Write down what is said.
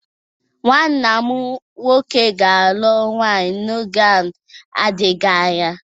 Nwa nna m nwoke ga-alụ nwunye n'oge na-adịghị anya.